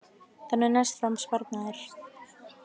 Þannig næst fram sparnaður